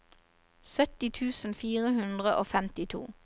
sytti tusen fire hundre og femtito